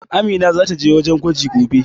Amina zata je wajen gwaji gobe.